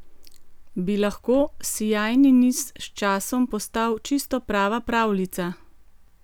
Bi lahko sijajni niz s časom postal čisto prava pravljica?